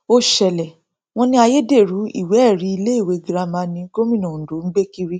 ó ṣẹlẹ wọn ní ayédèrú ìwéẹrí iléèwé girama ni gómìnà ondo ń gbé kiri